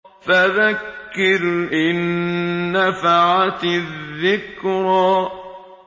فَذَكِّرْ إِن نَّفَعَتِ الذِّكْرَىٰ